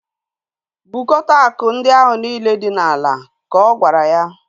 Bukota akụ ndị ahu niile dị n'ala! Ka ọ gwara ya